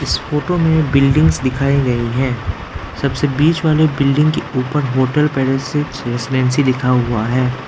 इस फोटो में बिल्डिंग्स दिखाए गए है सबसे बीच वाले बिल्डिंग के ऊपर होटल लिखा हुआ है।